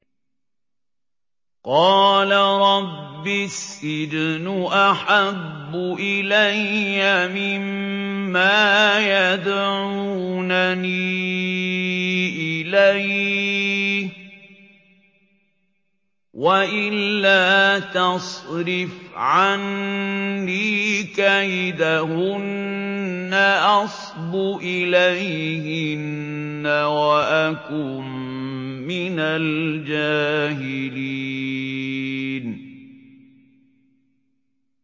قَالَ رَبِّ السِّجْنُ أَحَبُّ إِلَيَّ مِمَّا يَدْعُونَنِي إِلَيْهِ ۖ وَإِلَّا تَصْرِفْ عَنِّي كَيْدَهُنَّ أَصْبُ إِلَيْهِنَّ وَأَكُن مِّنَ الْجَاهِلِينَ